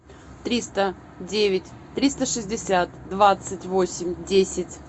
триста девять триста шестьдесят двадцать восемь десять